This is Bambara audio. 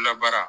Labaara